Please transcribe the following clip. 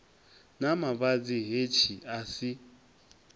na mavhadzi hetshi a si